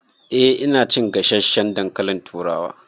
Eh ina cin gasasshen dankalin turawa